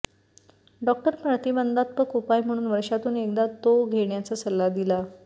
doctor प्रतिबंधात्मक उपाय म्हणून वर्षातून एकदा तो घेण्याचा सल्ला दिला